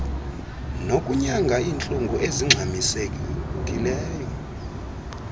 nokunyanga iintlungu ezingxamisekileyo